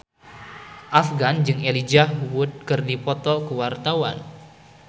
Afgan jeung Elijah Wood keur dipoto ku wartawan